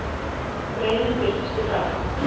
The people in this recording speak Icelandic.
Greinin birtist í dag